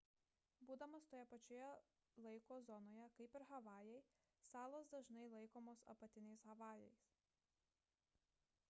būdamos toje pačioje laiko zonoje kaip ir havajai salos dažnai laikomos apatiniais havajais